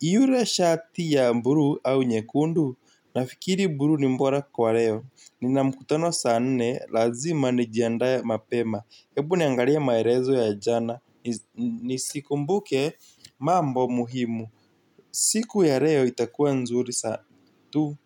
ile shati ya buluu au nyekundu? Nafikiri buluu ni bora kwa leo, nina mkutano sa nne, lazima nijiandae mapema. Hebu niangalie maelezo ya jana nisikumbuke mambo muhimu. Siku ya leo itakua nzuri sa tu.